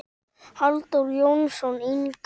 Halldór Jónsson yngri.